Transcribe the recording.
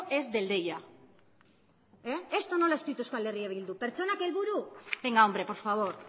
es del deia esto no lo ha escrito euskal herria bildu pertsonak helburu venga hombre por favor